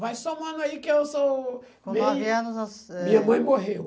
Vai somando aí que eu sou bem... Com nove anos eh... Minha mãe morreu.